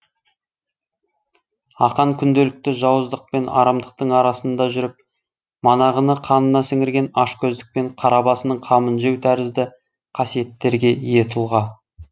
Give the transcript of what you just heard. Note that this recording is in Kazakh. ақан күнделікті жауыздық пен арамдықтың арасында жүріп манағыны қанына сіңірген ашкөздік пен қара басының қамын жеу тәрізді қасиеттерге ие тұлға